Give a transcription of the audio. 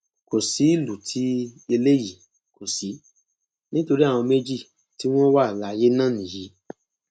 kò sí ìlú tí eléyìí kò sí nítorí àwọn méjì tí wọn wà láyé náà nìyí